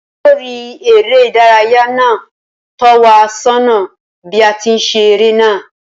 Olórí eré ìdárayá náà tó wa sónà bí a ti ń ṣe eré náà